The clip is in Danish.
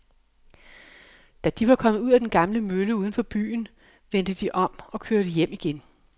Da de var kommet ud til den gamle mølle uden for byen, vendte de om og kørte hjem igen.